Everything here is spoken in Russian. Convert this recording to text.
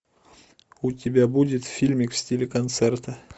у тебя будет фильмик в стиле концерта